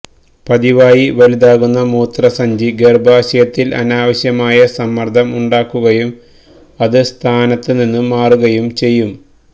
പതിവായി വലുതാക്കുന്ന മൂത്രസഞ്ചി ഗര്ഭാശയത്തില് അനാവശ്യമായ സമ്മര്ദ്ദം ഉണ്ടാക്കുകയും അത് സ്ഥാനത്ത് നിന്ന് മാറുകയും ചെയ്യും